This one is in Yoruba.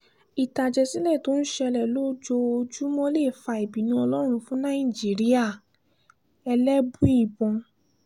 ìtàjẹ̀sílẹ̀ tó ń ṣẹlẹ̀ lójoojúmọ́ lè fa ìbínú ọlọ́run fún nàìjíríà ẹlẹ́bùíbọn